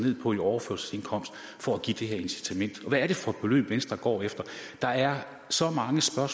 ned på i overførselsindkomst for at give det her incitament hvad er det for beløb venstre går efter der er så mange svar